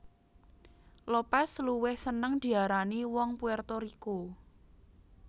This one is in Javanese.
Lopez luwih seneng diarani wong Puerto Rico